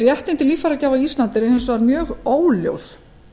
réttindi líffæragjafa á íslandi eru hins vegar mjög óljós